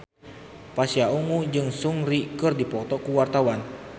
Pasha Ungu jeung Seungri keur dipoto ku wartawan